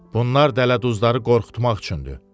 Bunlar dələduzları qorxutmaq üçündür.